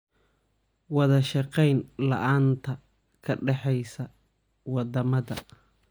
Wadashaqeyn la'aanta ka dhaxaysa wadamada.